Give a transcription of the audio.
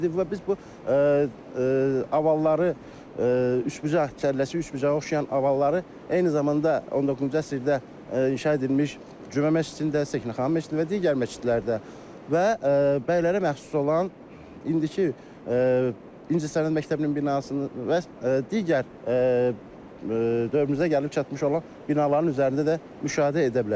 Və biz bu avalları üçbucaq kəlləsi, üçbucağa oxşayan avalları eyni zamanda 19-cu əsrdə inşa edilmiş Cümə məscidində, Səkinə xanım məscidində və digər məscidlərdə və bəylərə məxsus olan indiki İncəsənət məktəbinin binasının və digər dövrümüzə gəlib çatmış olan binaların üzərində də müşahidə edə bilərik.